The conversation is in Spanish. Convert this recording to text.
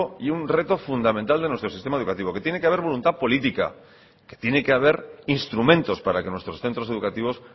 y un reto fundamental de nuestro sistema educativo que tiene que haber voluntad política que tiene que haber instrumentos para que nuestros centros educativos